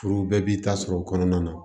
Furu bɛɛ b'i ta sɔrɔ o kɔnɔna na